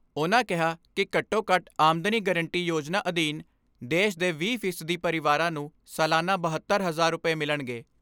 ਉਨ੍ਹਾਂ ਕਿਹਾ ਕਿ ਘੱਟੋ ਘੱਟ ਆਮਦਮੀ ਗਰੰਟੀ ਯੋਜਨਾ ਅਧੀਨ ਦੇਸ਼ ਦੇ ਵੀਹ ਫੀਸਦੀ ਪਰਿਵਾਰਾਂ ਨੂੰ ਸਾਲਾਨਾ ਬਹੱਤਰ ਹਜ਼ਾਰ ਰੁਪਏ ਮਿਲਣਗੇ।